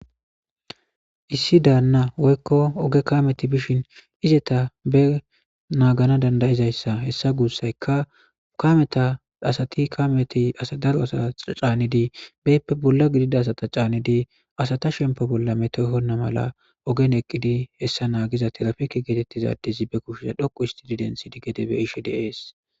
Issi daanna woykko oge kameti bishin izeta be naagana dandayizayssa hessa guussaykka kameta asati kameti asa daro asa caanidi beyppe bolla gidida asata caanidi asata shempe bolla metoyhonna mala ogen eqqidi hessa naagiza tirafeke geetettizadizi be kushshiza dhoqu isti didentsid gede be ishi deees.